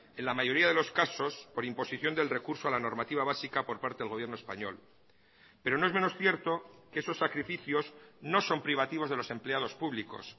en la mayoría de los casos por imposición del recurso a la normativa básica por parte del gobierno español pero no es menos cierto que esos sacrificios no son privativos de los empleados públicos